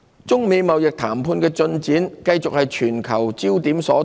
中美貿易談判的進展繼續是全球焦點所在。